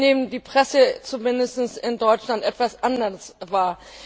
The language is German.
Ich nehme die Presse zumindest in Deutschland etwas anders wahr.